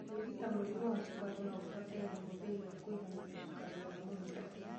Kũrigita mũrimũ wa cukari nogũbatare ũhũthĩri wa kũiganania cukari wa mwĩrĩ